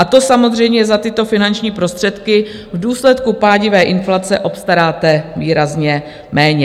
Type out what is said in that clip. A to samozřejmě za tyto finanční prostředky v důsledku pádivé inflace obstaráte výrazně méně.